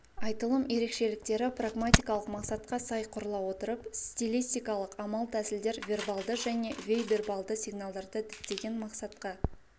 айтылым ерекшеліктері прагматикалық мақсатқа сай құрыла отырып стилистикалық амал-тәсілдер вербалды және бейвербалды сигналдарды діттеген мақсатқа